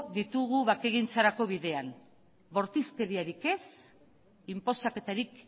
ditugu bakegintzarako bidean bortizkeriarik ez inposaketarik